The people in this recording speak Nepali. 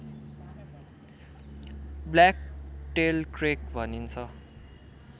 ब्ल्याकटेल्ड क्रेक भनिन्छ